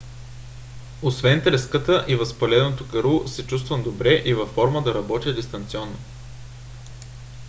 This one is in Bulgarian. освен треската и възпаленото гърло се чувствам добре и във форма да работя дистанционно